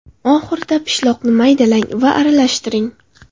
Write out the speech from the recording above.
Oxirida pishloqni maydalang va aralashtiring.